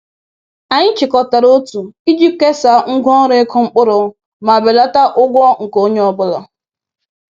Anyị chịkọtara otu iji kesaa ngwa ọrụ ịkụ mkpụrụ ma belata ụgwọ nke onye ọ bụla